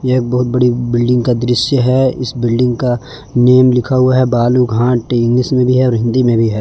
यह एक बहुत बड़ी बिल्डिंग का दृश्य है इस बिल्डिंग का नेम लिखा हुआ है बालू घाट इंग्लिश में भी और हिंदी में भी है।